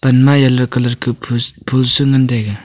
ama yellow colour kuh phus phool su ngantaiga.